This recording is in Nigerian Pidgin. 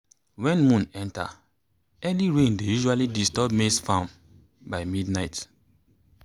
when moon enter early rain dey usually disturb maize farm by midnight.